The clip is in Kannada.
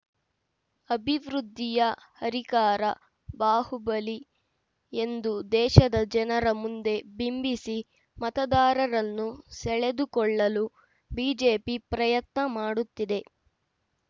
ಅಭಿವೃದ್ಧಿಯ ಹರಿಕಾರ ಬಾಹುಬಲಿ ಎಂದು ದೇಶದ ಜನರ ಮುಂದೆ ಬಿಂಬಿಸಿ ಮತದಾರರನ್ನು ಸೆಳೆದುಕೊಳ್ಳಲು ಬಿಜೆಪಿ ಪ್ರಯತ್ನ ಮಾಡುತ್ತಿದೆ